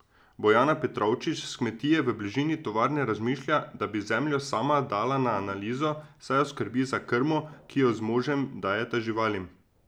Bojana Petrovčič s kmetije v bližini tovarne razmišlja, da bi zemljo sama dala na analizo, saj jo skrbi za krmo, ki jo z možem dajeta živalim.